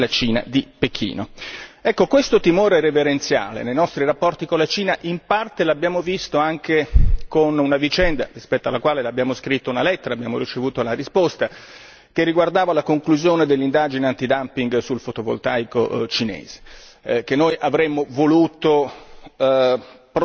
Questo timore reverenziale nei nostri rapporti con la Cina in parte lo abbiamo visto anche con una vicenda rispetto alla quale abbiamo scritto una lettera e abbiamo ricevuto la risposta che riguardava la conclusione dell'indagine antidumping sul fotovoltaico cinese, che noi avremmo voluto proseguita in modo